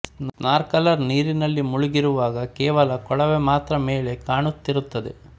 snorkeller ನೀರಿನಲ್ಲಿ ಮುಳುಗಿರುವಾಗ ಕೇವಲ ಕೊಳವೆ ಮಾತ್ರ ಮೇಲೆ ಕಾಣುತ್ತಿರುತ್ತದೆ